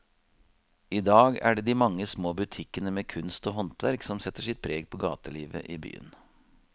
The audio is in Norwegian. I dag er det de mange små butikkene med kunst og håndverk som setter sitt preg på gatelivet i byen.